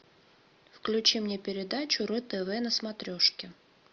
включи мне передачу ру тв на смотрешке